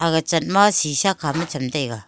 ga chaat shisha khama chem tega.